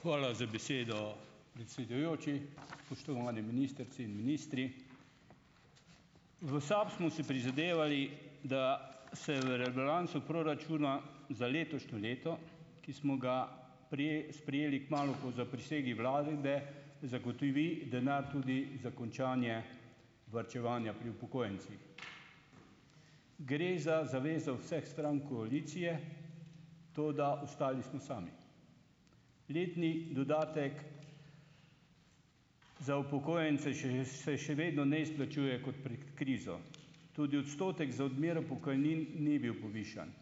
Hvala za besedo, predsedujoči. Spoštovani ministrici in ministri! V SAB smo si prizadevali, da se v rebalansu proračuna za letošnje leto, ki smo ga sprejeli kmalu po zaprisegi vlade, zagotovi denar tudi za končanje varčevanja pri upokojencih. Gre za zavezo vseh strank koalicije, toda ostali smo sami. Letni dodatek za upokojence še se še vedno ne izplačuje kot pred krizo. Tudi odstotek za odmero pokojnin ni bil povišan.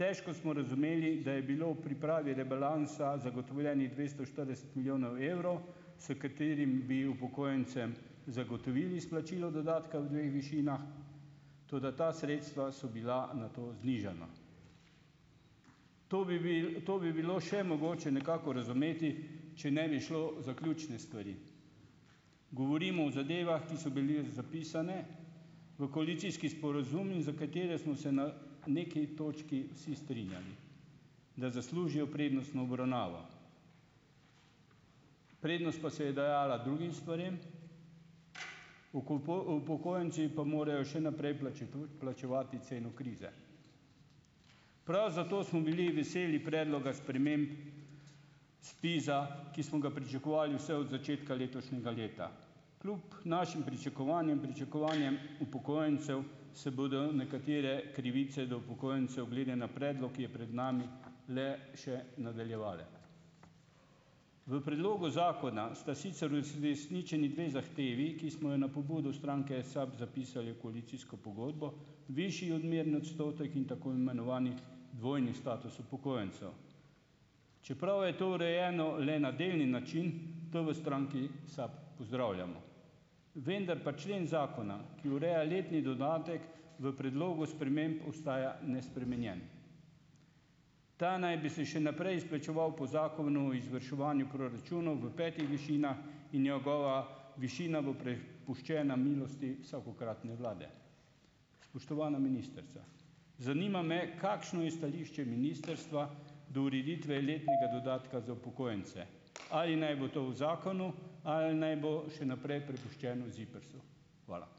Težko smo razumeli, da je bilo v pripravi rebalansa zagotovljenih dvesto štirideset milijonov evrov, s katerim bi upokojencem zagotovili izplačilo dodatka v dveh višinah, toda ta sredstva so bila nato znižana. To bi to bi bilo še mogoče nekako razumeti, če ne bi šlo za ključne stvari. Govorimo o zadevah, ki so bili zapisane v koalicijski sporazum in za katere smo se na neki točki vsi strinjali, da zaslužijo prednostno obravnavo. Prednost pa se je dajala drugim stvarem, upokojenci pa morajo še naprej plačevati ceno krize. Prav zato smo bili veseli predloga sprememb SPIZ-a, ki smo ga pričakovali vse od začetka letošnjega leta. Kljub našim pričakovanjem, pričakovanjem upokojencev se bodo nekatere krivice do upokojencev glede na predlog, ki je pred nami, le še nadaljevale. V predlogu zakona sta sicer resničeni dve zahtevi, ki smo jo na pobudo stranke SAB zapisali v koalicijsko pogodbo, višji odmerni odstotek in tako imenovani dvojni status upokojencev. Čeprav je to urejeno le na delni način, to v stranki SAB pozdravljamo, vendar pa člen zakona, ki ureja letni dodatek v predlogu sprememb ostaja nespremenjen. Ta naj bi se še naprej izplačeval po zakonu o izvrševanju proračuna v petih višinah in njegova višina bo prepuščena milosti vsakokratne vlade. Spoštovana ministrica! Zanima me: Kakšno je stališče ministrstva do ureditve letnega dodatka za upokojence? Ali naj bo to v zakonu ali naj bo še naprej prepuščeno ZIPRS-u? Hvala.